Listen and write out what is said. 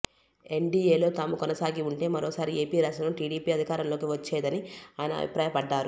ఎన్డీఏలో తాము కొనసాగి ఉంటే మరోసారి ఏపీ రాష్ట్రంలో టీడీపీ అధికారంలోకి వచ్చేదని ఆయన అభిప్రాయపడ్డారు